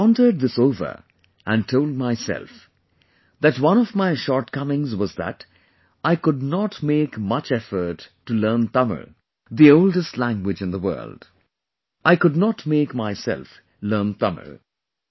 I pondered this over and told myself that one of my shortcomings was that I could not make much effort to learn Tamil, the oldest language in the world ; I could not make myself learn Tamil